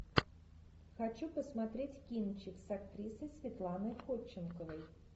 хочу посмотреть кинчик с актрисой светланой ходченковой